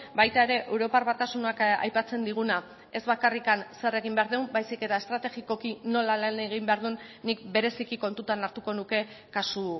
baita ere europar batasunak aipatzen diguna ez bakarrik zer egin behar dugun baizik eta estrategikoki nola lan egin behar duen nik bereziki kontutan hartuko nuke kasu